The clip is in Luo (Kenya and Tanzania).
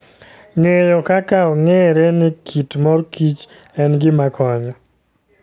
Ng'eyo kaka ong'ere ni kit mor kich en gima konyo.